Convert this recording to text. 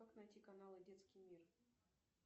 как найти каналы детский мир